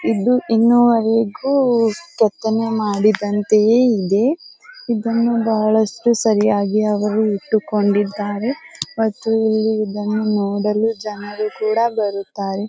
ಇದು ಇನ್ನೂವರೆಗೂ ಪ್ರತಿಮೆ ಮಾಡಿದಂತೆಯೇ ಇದೆ. ಇದನ್ನು ಬಹಳಷ್ಟು ಸರಿಯಾಗಿ ಅವರು ಇಟ್ಟುಕೊಂಡಿದ್ದಾರೆ ಮತ್ತು ಇಲ್ಲಿ ಇದನ್ನು ನೋಡಲು ಜನರು ಕೂಡ ಬರುತ್ತಾರೆ.